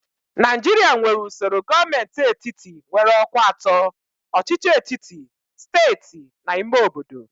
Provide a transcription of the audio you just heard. Naijiria nwere usoro gọọmentị etiti nwere ọkwa atọ: ọchịchị etiti, steeti na ime obodo.